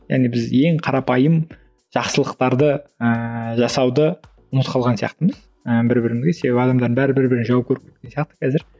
яғни біз ең қарапайым жақсылықтарды ыыы жасауды ұмытып қалған сияқтымыз ы бір бірімізге себебі адамдардың бәрі бір бірін жау көріп кеткен сияқты қазір